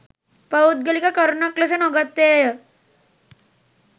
පෞද්ගලික කරුණක් ලෙස නොගත්තේය.